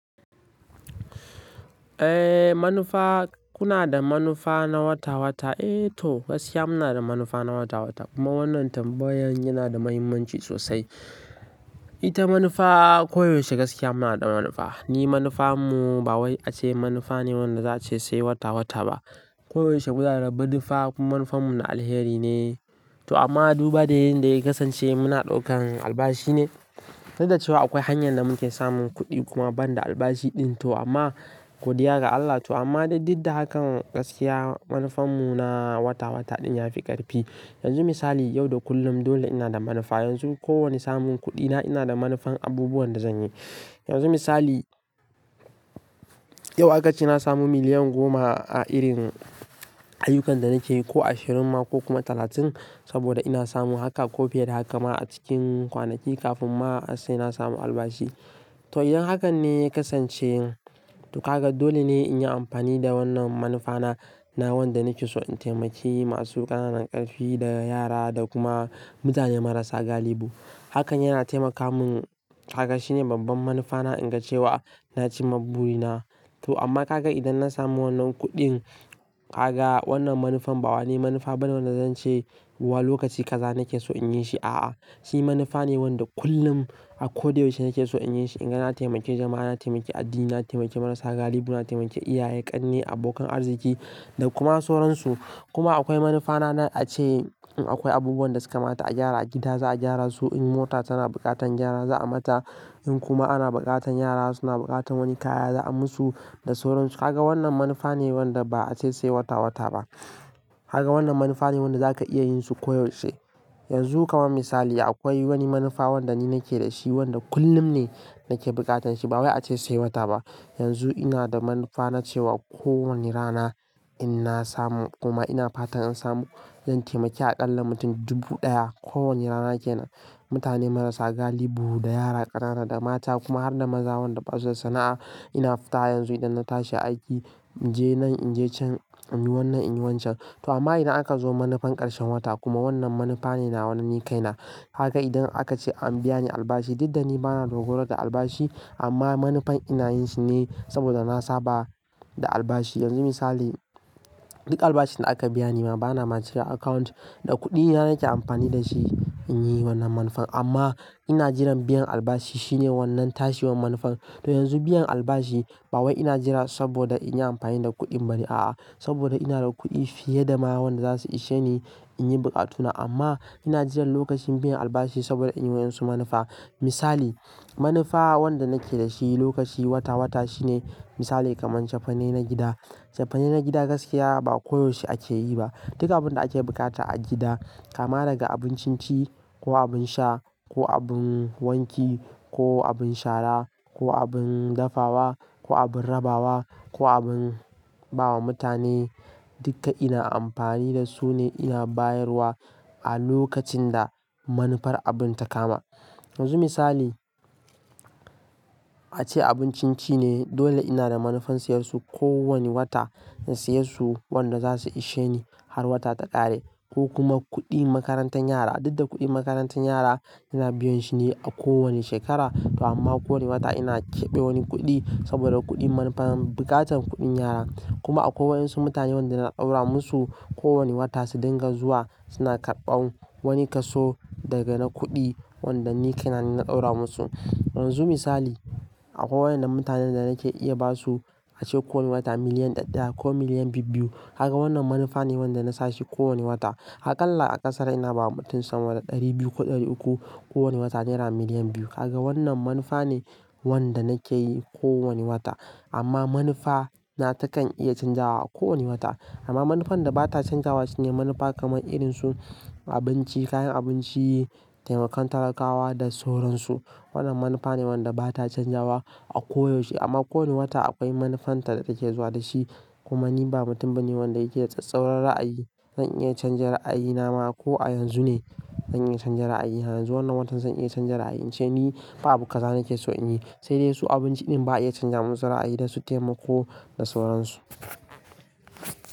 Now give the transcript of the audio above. Eh, manufa kuna da manufa na wata-wata? Eh to, gaskiya muna da manufa na wata-wata kuma wannan tambayan yana da muhimmanci sosai. Ita manufa koyaushe gaskiya muna da manufa. Ni manufarmu ba wai ace manufa ne wanda za a ce sai wata-wata ba. Koyaushe guda da badufa manufarmu na alheri ne. To amma duba da yin da ya kasance muna ɗaukan albashi ne. Dudda cewa akwai hanyar da muke samun kuɗi kuma ban da albashi ɗin to amma godiya ga Allah to amma duk da hakan gaskiya manufarmu na wata-wata ɗin ya fi ƙarfi. Yanzu misali yau da kullum dole ina da manufa. Yanzu kowane samun kuɗi na ina da manufan abubuwan da zan yi. Yanzu misali, yau aka ce na samu miliyan goma a irin ayyukan da nake yi ko ashirin ma ko kuma talatin saboda ina samu haka ko fiye da haka ma a cikin kwanaki kafin ma sai na samu albashi. To, idan hakan ne ya kasance to haka dole ne in yi amfani da wannan manufa na, na wanda nake so in taimaki masu ƙananan ƙarfi da yara da kuma mutane marasa galihu. Hakan yana taimaka mun, kaga shine babban manufana in ga cewa na ci maburi na. To amma kaga idan na samu wannan kuɗin, kaga wannan manufan ba wani manufa ba ne wanda zan ce wa lokaci gaza nake so in yi shi. A'a, shi manufa ne wanda kullum a ko da yaushe nake so in yi shi. Inga na taimake jama'a, na taimake addini, na taimake marasa galihu, na taimake iyaye, ƙanne, abokan arziki da kuma sauransu. Kuma akwai manufa na na a ce akwai abubuwan da suka mata a gyara a gida za a gyara su. In mota tana buƙatan gyara za a mata. In kuma ana buƙatan yara suna buƙatan wani kaya za a musu da sauransu. Kaga wannan manufa ne wanda ba a ce sai wata-wata ba. Kaga wannan manufa ne wanda za ka iya yin su koyaushe. Yanzu ka man misali akwai wani manufa wanda ni nake da shi wanda kullum ne nake buƙatan shi ba wai a ce sai wata ba. Yanzu ina da manufa na cewa kowane rana in na samu kuma ina fatan in samu zan taimake a ƙalla mutum dubu ɗaya kowane rana ke nan. Mutane marasa galihu da yara ƙanana da mata kuma har da maza wanda basu da sana'a ina fita yanzu idan na tashi aiki in je nan, in je can, in yi wannan, in yi wancan. To amma idan aka zo manufan ƙarshen wata kuma wannan manufa ne na wanda ni kai na. Kaga idan aka ce an biyani albashi duk da ni bana rura da albashi amma manufan ina yin shi ne saboda na saba da albashi. Yanzu misali, duk albashin da aka biya ni ma bana masu ga account da kuɗi yana nake amfani da shi in yi wannan manufan amma ina jiran biyan albashi shine wannan tashiwa manufan. To yanzu biyan albashi ba wai ina jira saboda in yi amfani da kuɗin ba ne a'a. Saboda ina da kuɗi fiye da ma wanda za su ishe ni in yi buƙatuna amma ina jiran lokacin biyan albashi saboda in yi wa yan su manufa. Misali, manufa wanda nake da shi lokaci wata-wata shine misali kamar cefane na gida. Cefane na gida gaskiya ba koyaushe ake yi ba. Duka abin da ake buƙata a gida kama daga abun cin ci ko abin sha ko abin wanki ko abin shara ko abin dafawa ko abin rabawa ko abin ba wa mutane duka ina amfani da su ne iya bayarwa a lokacin da manufar abun ta kama. Yanzu misali, a ce abun cin ci ne dole ina da manufan siyar su ko wani wata in siyar su wanda za su ishe ni har wata ta ƙare ko kuma kuɗi makarantar yara. Duk da kuɗin makarantar yara ina biyan shi ne a kowane shekara to amma kowane wata ina keɓe wani kuɗi saboda kuɗi manufan buƙatan kuɗin yara. Kuma akwai wayan su mutane wanda na ɗaura musu kowane wata su dinga zuwa suna karɓan wani kaso daga na kuɗi wanda ni kai na na ɗaura musu. Yanzu misali, akwai wayan na mutanen da nake iya ba su a ce ko wani wata miliyan ɗaya ko miliyan biyu biyu. Haka wannan manufa ne wanda na sashi ko wani wata. Akalla a ƙasara ina ba mutum sama da ɗari biyu ko ɗari uku kowane wata naira miliyan biyu. Kaga wannan manufa ne wanda nake yi ko wani wata. Amma manufa na takan iya canzawa a ko wani wata. Amma manufan da ba ta canzawa shine manufa kamar irin su abinci, kayan abinci, taimakon talakawa da sauransu. Wannan manufa ne wanda ba ta canzawa a koyaushe amma ko wani wata akwai manufan ta da take zuwa da shi. Kuma ni ba mutum ba ne wanda yake tsattsauran ra'ayi. Zan iya canza ra'ayi na ma ko a yanzu ne zan iya canza ra'ayi. Yanzu wannan watan zan iya canza ra'ayi in ce ni ba abu gaza nake so in yi. Sai dai su abinci ɗin ba iya canza mun tsara ra'ayi da su taimako da sauransu.